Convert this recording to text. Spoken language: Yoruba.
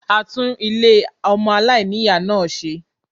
A tún Ilé ọmọ aláìní-Ìyá náà ṣe